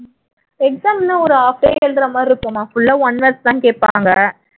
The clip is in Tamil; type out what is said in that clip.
exam என்ன ஒரு half day எழுதுற மாதிரி இருக்கும்மா full ஆ one words தான் கேப்பாங்க